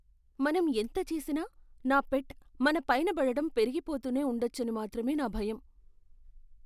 మనం ఎంత చేసినా నా పెట్ మన పైనబడటం పెరిగిపోతూనే ఉండొచ్చని మాత్రమే నా భయం.